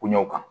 Kuɲaw kan